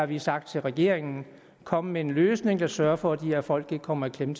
vi har sagt til regeringen kom med en løsning der sørger for at de her folk ikke kommer i klemme